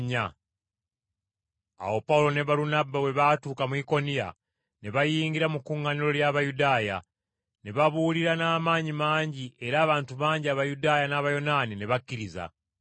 Awo Pawulo ne Balunabba bwe baatuuka mu Ikoniya ne bayingira mu kkuŋŋaaniro ly’Abayudaaya. Ne babuulira n’amaanyi mangi era abantu bangi Abayudaaya n’Abayonaani ne bakkiriza.